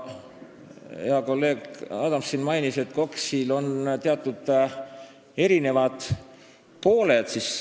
Hea kolleeg Adams mainis, et KOKS-il on erinevad pooled.